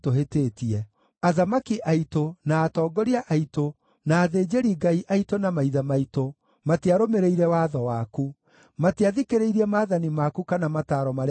Athamaki aitũ, na atongoria aitũ, na athĩnjĩri-Ngai aitũ na maithe maitũ, matiarũmĩrĩire watho waku; matiathikĩrĩirie maathani maku kana mataaro marĩa wamaheire.